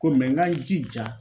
Ko n ka n jija.